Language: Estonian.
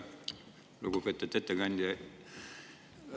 Lugupeetud ettekandja!